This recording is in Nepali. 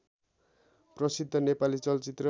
प्रसिद्ध नेपाली चलचित्र